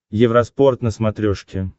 евроспорт на смотрешке